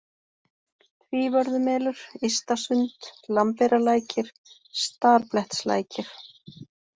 Tvívörðumelur, Ysta-Sund, Lambeyrarlækir, Starblettslækir